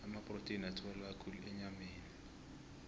amaprotheni atholakala khulu enyameni